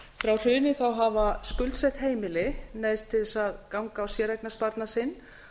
frá hruni hafa skuldsett heimili neyðst til þess að ganga á séreignarsparnað sinn